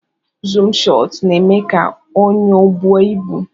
zoom shọt na eme ka onyo bụọ ibu.